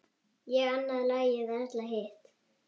Ég annað lagið, Erla hitt!